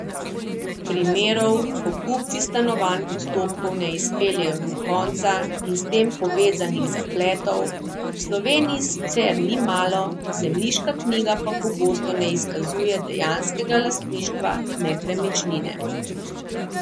Primerov, ko kupci stanovanj postopkov ne izpeljejo do konca, in s tem povezanih zapletov, v Sloveniji sicer ni malo, zemljiška knjiga pa pogosto ne izkazuje dejanskega lastništva nepremičnine.